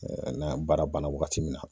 n'a baara banna wagati min na